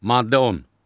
Maddə 10.